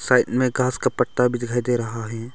Side में घास का पट्टा भी दिखाई दे रहा है।